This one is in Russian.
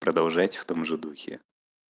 продолжайте в том же духе